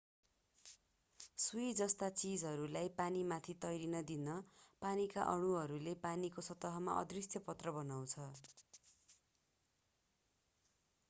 सुई जस्ता चीजहरूलाई पानीमाथि तैरिन दिन पानीका अणुहरूले पानीको सतहमा अदृश्य पत्र बनाउँछ